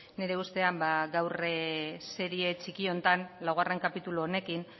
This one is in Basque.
nire ustean ba gaur serie txiki honetan laugarren kapitulu honekin